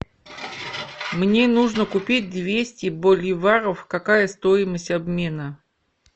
мне нужно купить двести боливаров какая стоимость обмена